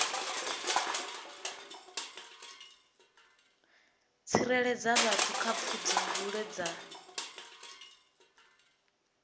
tsireledza vhathu kha pfudzungule dza